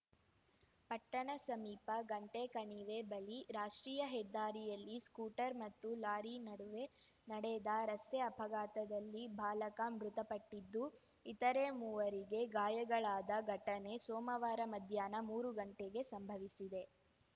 ಪಟ್ಟಣ ಸಮೀಪ ಗಂಟೆಕಣಿವೆ ಬಳಿ ರಾಷ್ಟ್ರೀಯ ಹೆದ್ದಾರಿಯಲ್ಲಿ ಸ್ಕೂಟರ್ ಮತ್ತು ಲಾರಿ ನಡುವೆ ನಡೆದ ರಸ್ತೆ ಅಪಘಾತದಲ್ಲಿ ಬಾಲಕ ಮೃತಪಟ್ಟಿದ್ದು ಇತರೆ ಮೂವರಿಗೆ ಗಾಯಗಳಾದ ಘಟನೆ ಸೋಮವಾರ ಮಧ್ಯಾಹ್ನ ಮೂರು ಗಂಟೆಗೆ ಸಂಭವಿಸಿದೆ